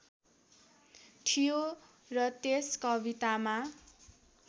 थियो र त्यस कवितामा